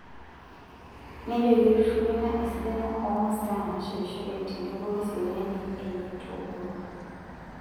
nejo keitushulu ena esidano oo masaa nshetishoreki tenebo oe seriani enye toomurua